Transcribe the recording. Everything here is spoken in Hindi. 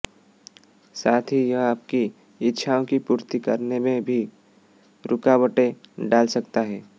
साथ ही यह आपकी इच्छाओं की पूर्ति करने में भी रूकावटें डाल सकता है